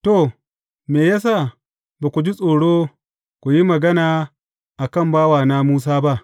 To, me ya sa ba ku ji tsoro ku yi magana a kan bawana Musa ba?